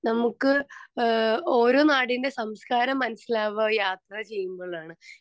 speaker 2 നമ്മുക്ക് ഏഹ് ഓരോ നാടിന്റെ സംസ്കാരം മനസിലാവുക യാത്ര ചെയ്യുമ്പോഴാണ്